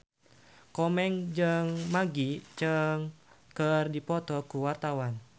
Komeng jeung Maggie Cheung keur dipoto ku wartawan